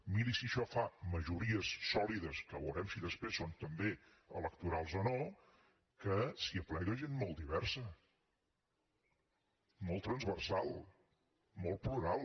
miri si això fa majories sòlides que veurem si després són també electorals o no que s’hi aplega gent molt diversa molt transversal molt plural